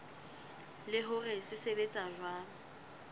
le hore se sebetsa jwang